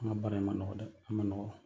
An ka baara in man nɔgɔ dɛ! A man nɔgɔ.